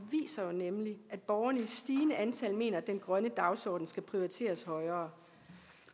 nemlig at borgerne i stigende antal mener at den grønne dagsorden skal prioriteres højere